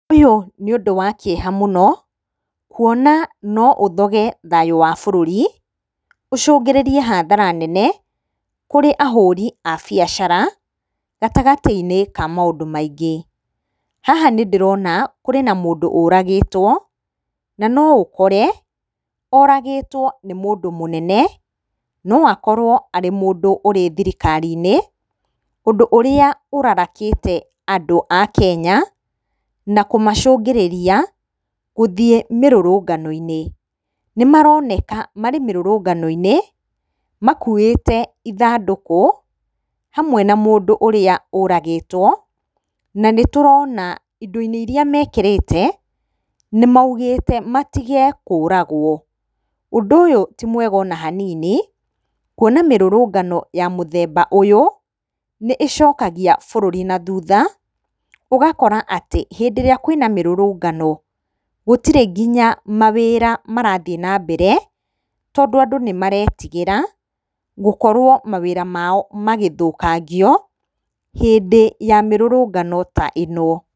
Ũyũ nĩ ũndũ wa kĩeha mũno kuona no ũthoge thayũ wa bũrũri, ũcungĩrĩrie hathara nene kũrĩ ahuri a biacara gatagatĩ-inĩ ka maũndũ maingĩ. Haha nĩ ndĩrona kũrĩ na mũndũ ũragĩtwo na no ũkore oragĩtwo nĩ mũndũ mũnene, no akorwo arĩ mũndũ ũrĩ thirikari-inĩ ũndũ ũrĩa ũrarakĩte andũ a Kenya na kũmacũngĩrĩria gũthiĩ mĩrũrungano-inĩ. Nĩ maroneka marĩ mĩrũrũngano-inĩ, makuĩte ithandũku, hamwe na mũndũ ũrĩa ũragĩtwo, na nĩ tũrona indo-inĩ iria mekĩrĩte nĩ maugĩte matige kũragwo. Ũndu ũyũ ti mwega ona hanini, kuona mĩrũrũngano ya mũthemba ũyũ, nĩ ĩcokagia bũrũri na thutha ũgakora atĩ hĩndĩ ĩrĩa kwĩ na mĩrũrũngano gũtĩrĩ nginya mawĩra marathiĩ na mbere tondũ andũ nĩ maretigĩra gũkorwo mawĩra mao magĩthũkangio hĩndĩ ya mĩrũrũngano ta ĩno.